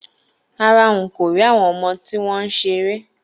Rárá, n kò rí àwọn ọmọ tí wọ́n ń ṣeré